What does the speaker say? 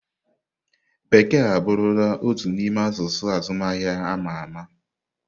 Bekee abụrụla otu n'ime asụsụ azụmahịa ama ama.